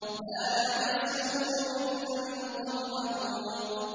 لَّا يَمَسُّهُ إِلَّا الْمُطَهَّرُونَ